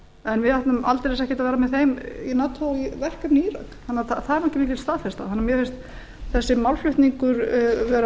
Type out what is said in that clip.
en við ætlum aldeilis ekki að vera þeim í nato í verkefni í írak það er ekki mikil staðfesta þannig